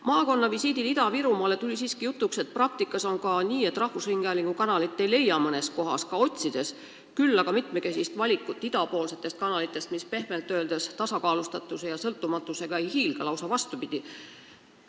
Maakonnavisiidil Ida-Virumaale tuli siiski jutuks, et praktikas rahvusringhäälingu kanaleid mõnes kohas ei leia, küll aga on mitmekesine valik idapoolseid kanaleid, mis pehmelt öeldes tasakaalustatuse ja sõltumatusega ei hiilga, lausa vastupidi.